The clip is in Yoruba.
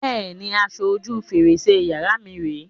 Bẹ́ẹ̀ni, aṣọ ojú fèrèsé yàrá mi rè é.